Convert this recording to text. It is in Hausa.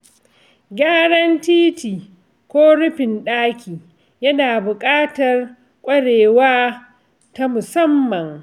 Gyaran titi ko rufin ɗaki yana buƙatar ƙwarewa ta musamman.